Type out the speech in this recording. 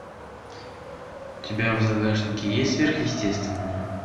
у тебя в загашнике есть сверхъестественное